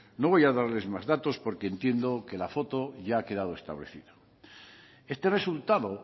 no voy a darles más datos porque entiendo que la foto ya ha quedado establecida este resultado